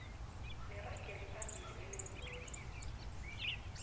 neragelo phambili elenziweko